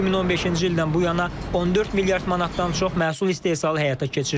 2015-ci ildən bu yana 14 milyard manatdan çox məhsul istehsalı həyata keçirilib.